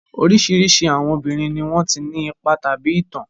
Oríṣiríṣi àwọn obìnrin ni wọ́n ti ní ipa tàbí ìtàn.